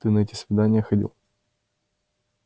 ты на эти свидания ходил